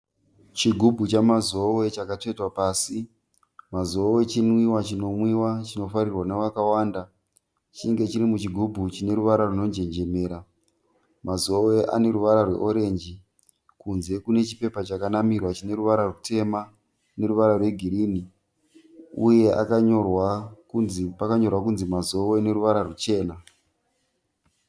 Chigubhu chaMazoe chakatsvetwa pasi, Mazoe chinwiwa chinomwiwa chinofarirwa navakawanda chinenge chiri muchigubhu chine ruvara rwunonjenjemera, Mazoe ane ruvara rweorenji kunze kune chipepa chakanamirwa chine ruvara rutema neruvara rwegirini uye pakanyorwa kunzi Mazoe neruvara rwuchena.